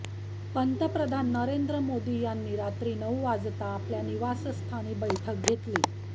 पंतप्रधान नरेंद्र मोदी यांनी रात्री नऊ वाजता आपल्या निवासस्थानी बैठक घेतली